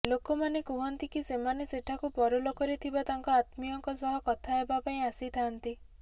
ଲୋକମାନେ କୁହନ୍ତି କି ସେମାନେ ସେଠାକୁ ପରଲୋକରେ ଥିବା ତାଙ୍କ ଆତ୍ମୀୟଙ୍କ ସହ କଥା ହେବାପାଇଁ ଆସିଥାନ୍ତି